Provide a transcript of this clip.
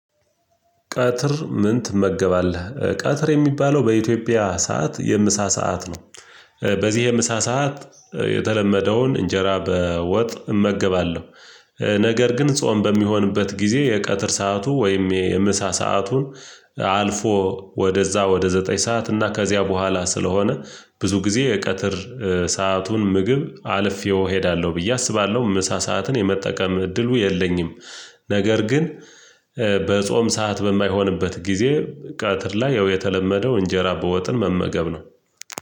ቀትር ምን ትመገባለህ ቀትር የሚባለው በኢትዮጵያ ሰዓት የምሳ ሰዓት ነው። በዚህ የምሳ ሰዓት የተለመደውን እንጀራ በወጥ እመገባለሁ። ነገር ግን ጾም በሚሆንበት ጊዜ የቀትር ሰዓቱ ወይም የምሳ ሰአቱን አልፎ ወደዛ ወደ ዘጠኝ ሰዓት እና ከዚያ በኋላ ስለሆነ ብዙ ጊዜ የቀትር ሰአቱን ምግብ አልፌው እሄዳለሁ ብዬ አስባለሁ ምሳ ሰዓትን የመጠቀም እድሉ የለኝም። ነገር ግን በጾም ሰዓት በማይሆንበት ጊዜ ቀትር ላይ ያው የተለመደው እንጀራ በወጥን መመገብ ነው።